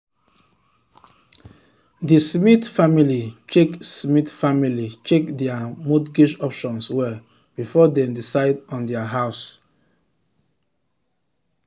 the smith family check smith family check their mortgage options well before dem decide on their house.